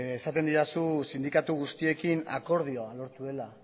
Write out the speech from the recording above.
esaten didazu sindikatu guztiekin akordioa lortu duela